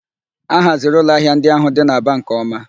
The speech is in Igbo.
A haziri ụlọ ahịa ndị ahụ dị n'Aba nke ọma